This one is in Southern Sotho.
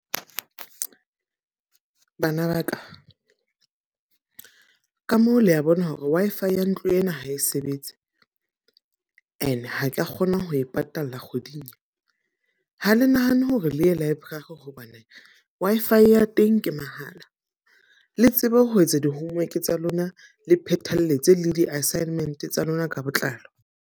Bana ba ka, ka moo le a bona hore Wi-Fi ya ntlo ena ha e sebetse. E ne ha ka kgona ho e patala kgweding e. Ha le nahane hore le ya library hobane Wi-Fi ya teng ke mahala. Le tsebe ho etsa di-homework tsa lona le phethahatse le di-assignment tsa lona ka botlalo.